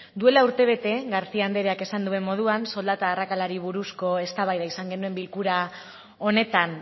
duela urtebete garcía andreak esan duen moduan soldata arrakalari buruzko eztabaida izan genuen bilkura honetan